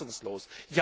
Ich bin fassungslos!